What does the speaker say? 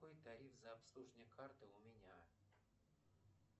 какой тариф за обслуживание карты у меня